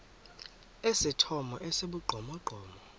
esithomo esi sibugqomogqomo